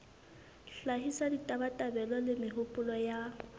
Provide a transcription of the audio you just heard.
hlahisa ditabatabelo le mehopolo ya